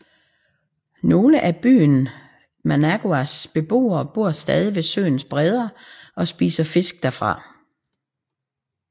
Nogle af byen Managuas beboere bor stadig ved søens bredder og spiser fisk derfra